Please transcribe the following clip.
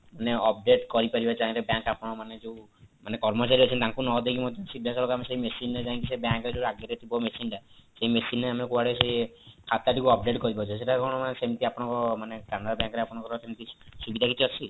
ଆମେ update କରିପାରିବା ଚାହିଁଲେ bank ଆପଣମାନେ ଯୋଉ ମାନେ ଯୋଉ କର୍ମଚାରୀ ଅଛନ୍ତି ତାଙ୍କୁ ନଦେଇ ମଧ୍ୟ ସିଧାସଳଖ ଆମେ ସେଇ machine ରେ ଯାଇକି ସେଇ bank ର ଯୋଉ ଆଗରେ ଥିବ machine ଟା ସେଇ machine ରେ ଆମେ କୁଆଡେ ସେ ଖାତା ଥିବା update କରିପରୁଛେ ସେଇଟା କଣ ସେମତି ଆପଣଙ୍କ ମାନେ canara bank ରେ ଆପଣଙ୍କର ସେମତି କିଛି ସୁବିଧା କିଛି ଅଛି